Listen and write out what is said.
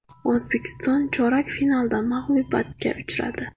O‘zbekiston chorak finalda mag‘lubiyatga uchradi.